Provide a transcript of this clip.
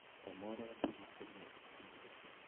тамара борисовна акимова